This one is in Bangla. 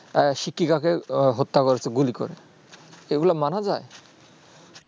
শিক্ষিকা কে হত্যা করেছে গুলি করে এই গুলু মানা যায়